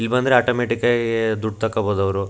ಇಲ್ಲಬಂದ್ರೆ automatic ಆಗೀ ದುಡ್ಡ್ ತೊಕ್ಕೊಲಬೊದವ್ರು.